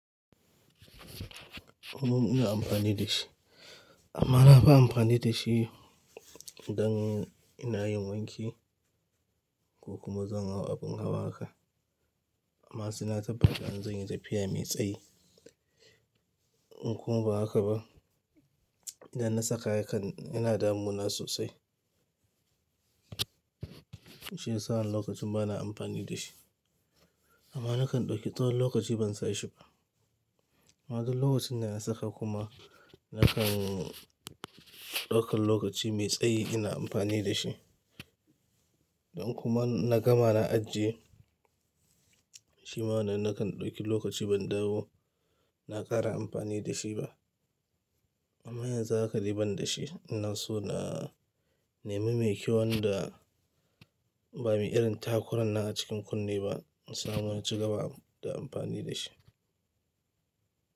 Kuma ina amfani da shi amma na fi amfani da shi idan ina yin wanki ko kuma zan hau abin hawa haka. Amma sai na tabbata in zan yi tafiya mai tsayi in kuma ba haka ba, idan na saka ya kan yana damu na sosai. Shiyasa lokacin ba na amfani da shi amma na kan ɗauke. Tsawon lokaci ban sa shi ba. Ma duk lokacin da na saka kuma na kan ɗaukan lokaci mai tsayi ina amfani da shi. Don kuma na gama na ajiye shi ma wannan nakan ɗauki lokaci ban dawo na ƙara amfani da shi ba. Amma yanzu haka ban da shi ina so na nemi mai kyaunl da ba mai irin takuran nan a cikin kunne ba. Insa mu in ci gaba da amfani da shi.